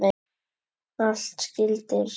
Allt skyldi hreint.